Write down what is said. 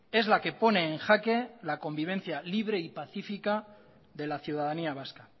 es la que pone en jaque la convivencia libre y pacífica de la ciudadanía vasca